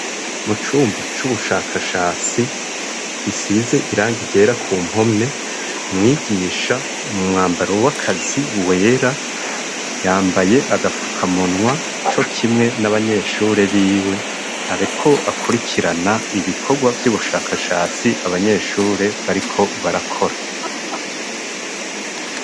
Mu cumba c'ubushakashatsi, gisize irangi ryera ku mpome, mwigisha mu mwambaro w'akazi wera, yambaye agafukamunwa co kimwe n'abanyeshure biwe. Ariko akurikirana ibikorwa vy'ubushakashatsi abanyeshure bariko barakora.